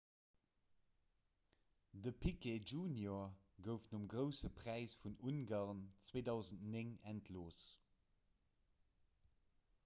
de piquet jr gouf nom grousse präis vun ungarn 2009 entlooss